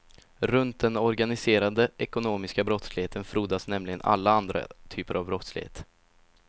Runt den organiserade ekonomiska brottsligheten frodas nämligen alla andra typer av brottslighet.